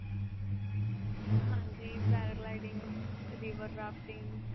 ਹਾਂਜੀ paragliding river rafting.